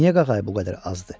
Niyə qağayı bu qədər azdı?